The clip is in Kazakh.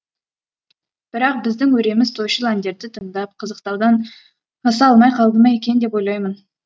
бірақ біздің өреміз тойшыл әндерді тыңдап қызықтаудан аса алмай қалды ма екен деп ойлаймын